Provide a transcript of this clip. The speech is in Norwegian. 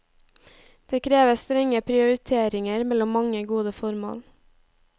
Det kreves strenge prioriteringer mellom mange gode formål.